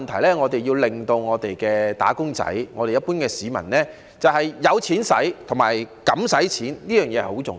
第一，我們要令香港"打工仔"及一般市民有錢花及敢花錢，這點很重要。